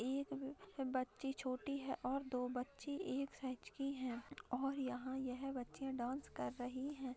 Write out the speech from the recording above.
वह एक व बच्ची छोटी है और दो बच्ची एक साइज की है और यहाँ यह बच्चीया डांस कर रही है।